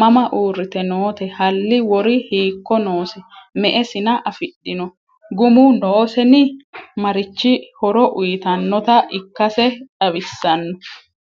Mama uuritte nootte? halli wori hiikko noose? me'e sinna afidhinno? gumu noosenni? marichi horo uyiittannotta ikkasse xawissanno?